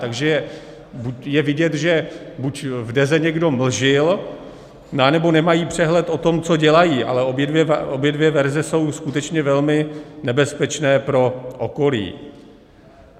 Takže je vidět, že buď v Deze někdo mlžil, anebo nemají přehled o tom, co dělají, ale obě dvě verze jsou skutečně velmi nebezpečné pro okolí.